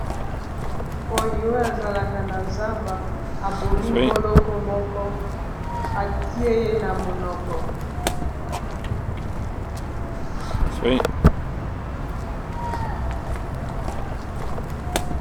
koyi oyo azalaka na zamba abomi mboloko moko atie ye na monoko.